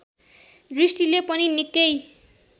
दृष्टिले पनि निकै